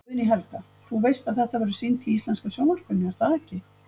Guðný Helga: Þú veist að þetta verður sýnt í íslenska sjónvarpinu, er það ekki?